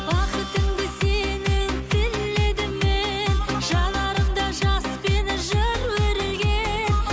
бақытыңды сенің тіледім мен жанарымда жаспен жыр өрілген